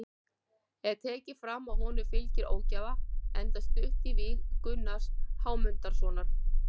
Er tekið fram að honum fylgi ógæfa enda stutt í víg Gunnars Hámundarsonar.